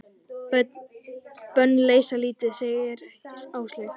Bönn leysa lítið, segir Áslaug.